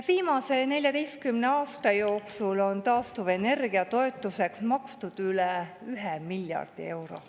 Viimase 14 aasta jooksul on taastuvenergia toetuseks makstud üle 1 miljardi euro.